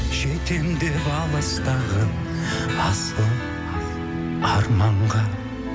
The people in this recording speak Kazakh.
жетемін деп алыстағы асыл арманға